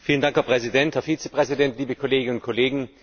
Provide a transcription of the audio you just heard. Herr Präsident, Herr Vizepräsident, liebe Kolleginnen und Kollegen!